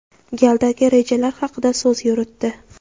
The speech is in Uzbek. galdagi rejalar haqida so‘z yuritdi.